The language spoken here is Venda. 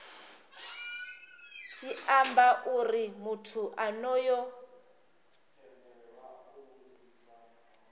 tshi amba uri muthu onoyo